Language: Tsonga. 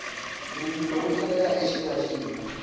rivilo u tlhela u xiyaxiya